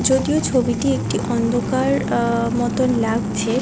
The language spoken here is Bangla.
যদিও ছবিটি একটি অন্ধকার আ- মতোন লাগছে।